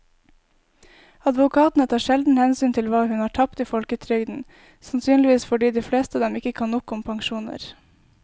Advokatene tar sjelden hensyn til hva hun har tapt i folketrygden, sannsynligvis fordi de fleste av dem ikke kan nok om pensjoner.